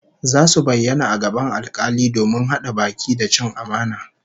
Zasu bayyana a gaban alkali domin hada baki da cin amana